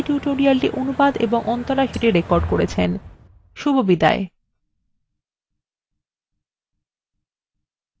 রাধা এই tutorialটি অনুবাদ এবং অন্তরা সেটি রেকর্ড করেছেন এই tutorialএ অংশগ্রহন করার জন্য ধন্যবাদ শুভবিদায়